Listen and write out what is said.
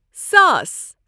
ساس